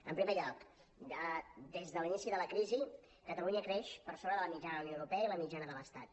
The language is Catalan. en primer lloc des de l’inici de la crisi catalunya creix per sobre de la mitjana de la unió europea i de la mitjana de l’estat